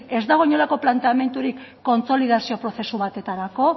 ez dago inongo planteamendurik kontsolidazio prozesu batetarako